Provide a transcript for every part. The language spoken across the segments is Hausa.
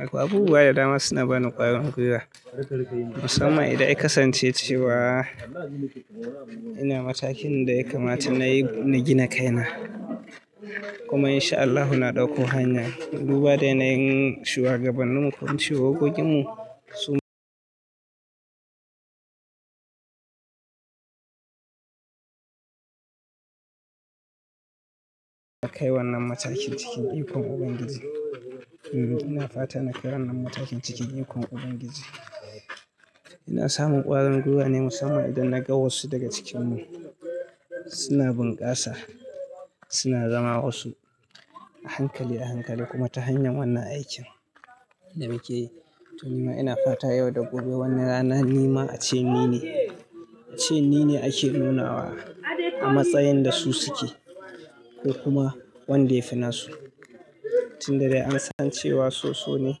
Akwai abubuwa da dama suna bani ƙwarin gwiwa, musamman idan ai kasance ce wa ina matakin da ya kamata nayi na gina kaina. Kuma in sha Allahu na ɗauko hanya, duba da ina yin shuagabannin ku shi hokkokin mu su kai wannan matakin cikin ikon Ubangiji. Ina fatan kai wannan matakin cikin ikon Ubangiji. Ina samun ƙwarin gwiwa ne musamman idan na ga wasu daga cikinmu suna bunkasa, suna zama wasu a hankali a hankali kuma ta hanyar wannan aikin da muke yi. To nima, ina fata yau da gobe wani rana ni ma a ce ni ne, a ce ni ne ake nunawa a matsayin da su suke. Ko kuma wanda yafii na su, tun da dai an san cewa so so ne,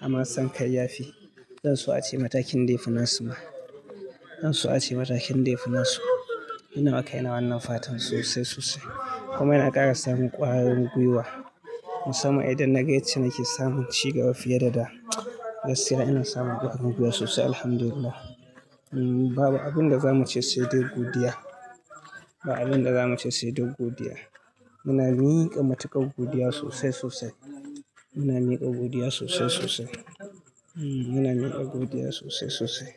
amma an san kai yafi, zan so a ce matakin da yafi su ma, zan so a ce matakin yafi na su. Ina maka ina wannan fatan sosai sosai. Kuma ina ƙara samun ƙwarin gwiwa musamman idan na ga ita nake samun ci gaba fiye da da. Gaskiya ina samun ƙwarin gwiwa sosai. Alhamdulillah. Babu abin da za mu ce sai dai godiya. Babu abin da za mu ce sai dai godiya. Muna miƙa matuƙar godiya sosai sosai. Muna miƙa godiya sosai sosai. Muna miƙa godiya sosai sosai.